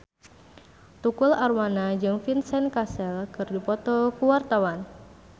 Tukul Arwana jeung Vincent Cassel keur dipoto ku wartawan